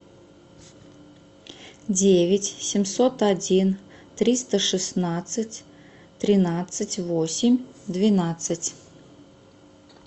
девять семьсот один триста шестнадцать тринадцать восемь двенадцать